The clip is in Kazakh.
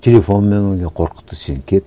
телефонмен одан кейін қорқытты сен кет